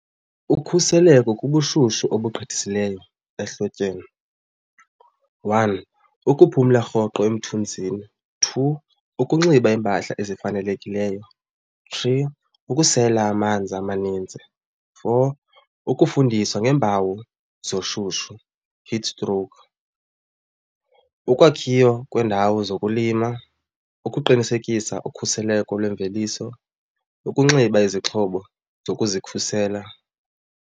Ukhuseleko kubushushu obugqithisileyo ehlotyeni. One, ukuphumla rhoqo umthunzini. Two, ukunxiba iimpahla ezifanelekileyo. Three, ukusela amanzi amaninzi. Four, ukufundisa ngeempawu zoshushu, heat stroke. Ukwakhiwa kweendawo zokulima, ukuqinisekisa ukhuseleko lwemveliso, ukunxiba izixhobo zokuzikhusela.